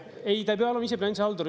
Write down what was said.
Ei, ta pea olema ise bilansihaldur.